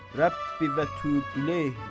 Rəbbi və tüvbu ileyhi.